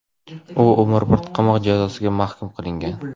U umrbod qamoq jazosiga mahkum qilingan.